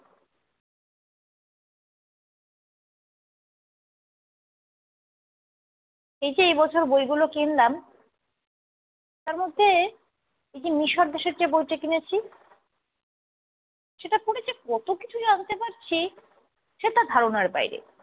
এই যে, এই বছর বইগুলো কিনলাম। তার মধ্যে এই যে মিশর দেশের যে বইটা কিনেছি। সেটা পড়ে যে কত কিছু জানতে পারছি সেটা ধারণার বাইরে।